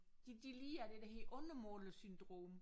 De de lider af det der hedder undermålersyndrom